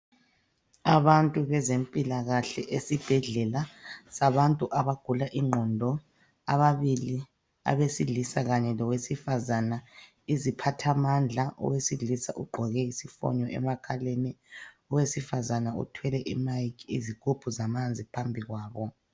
Abantu bezempilakahle esibhedlela sabantu abagula ingqondo, ababili abesilisa kanye lowesifazana. Iziphathamandla owesilisa ugqoke isifonyo emakhaleni. Owesifazana uthwele "iMic", izigubhu zamanzi phambikwabo.